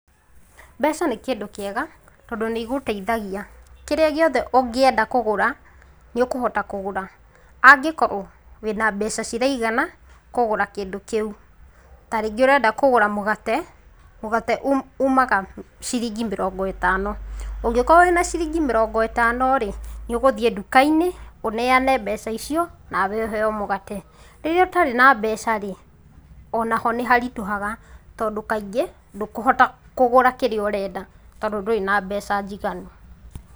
Mbeca nĩ kĩndũ kĩega tondũ nĩũgũteithagia, kĩrĩa gĩothe ũngĩenda kũgũra, nĩũkũhota kũgũra ,angĩkorwo wĩna mbeca ciraigana kũgũra kĩndũ kĩũ, ta rĩngĩ ũrenda kũgũra mũgate, mũgate ũmaga ciringi mĩrongo ĩtano, ũngĩkorwo wĩna ciringi mĩrongo ĩtano rĩ, nĩũgũthiĩ ndukainĩ ũneane mbeca icio nawe ũhewe mũgate .Rĩrĩa ũtarĩ na mbeca rĩ, onaho nĩharitũhaga tondu kaingĩ ndũkũhota kũgũra kĩrĩa ũrenda tondũ ndũrĩ na mbeca njiganũ.